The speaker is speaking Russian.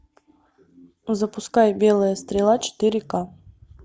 запускай белая стрела четыре ка